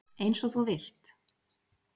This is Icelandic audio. Eins og þú vilt.